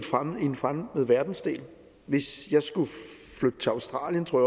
en fremmed verdensdel hvis jeg skulle flytte til australien tror